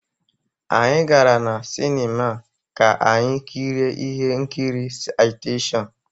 Anyị gara na Sinima ka anyị kirie ihe nkiri Citation